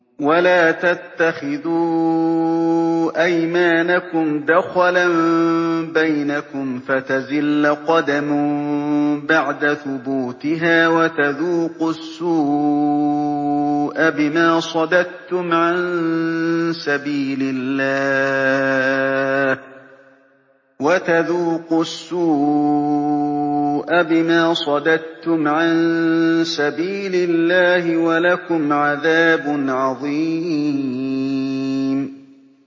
وَلَا تَتَّخِذُوا أَيْمَانَكُمْ دَخَلًا بَيْنَكُمْ فَتَزِلَّ قَدَمٌ بَعْدَ ثُبُوتِهَا وَتَذُوقُوا السُّوءَ بِمَا صَدَدتُّمْ عَن سَبِيلِ اللَّهِ ۖ وَلَكُمْ عَذَابٌ عَظِيمٌ